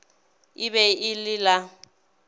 e be e le la